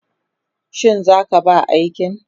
Shi za ka ba aikin?